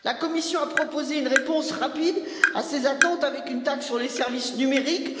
La Commission a proposé une réponse rapide à ces attentes, avec une taxe sur les services numériques.